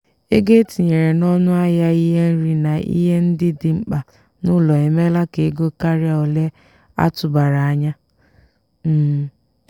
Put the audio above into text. ego etinyere n'ọnụ ahịa ihe nri na ihe ndị dị mkpa n'ụlọ emela ka ego karịa ole atụbara anya. um